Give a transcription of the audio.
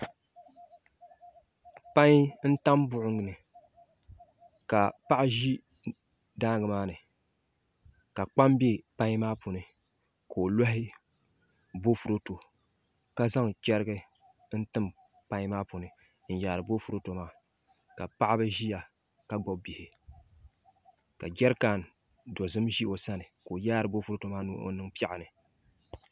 Pai n tam buɣum ni ka Paɣa ʒi daangi maa ni ka kpam bɛ pai maa puuni ka o loɣi boofurooto ka zaŋ chɛrigi n tim pai maa puuni n yaari boofurooto maa ka paɣaba ʒiya ka gbubi bihi ka jɛrikan dozim ʒi o sani ka o yaari boofurooto maa ni o niŋ piɛɣu ni